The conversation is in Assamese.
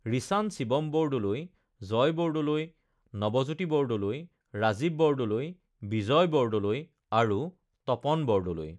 ৰীছান শিৱম বৰদলৈ, জয় বৰদলৈ, নৱজ্যোতি বৰদলৈ, ৰাজীৱ বৰদলৈ, বিজয় বৰদলৈ আৰু তপন বৰদলৈ